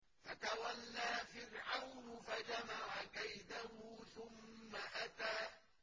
فَتَوَلَّىٰ فِرْعَوْنُ فَجَمَعَ كَيْدَهُ ثُمَّ أَتَىٰ